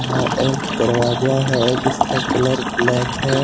एक दरवाजा है जिसका कलर ब्लैक है।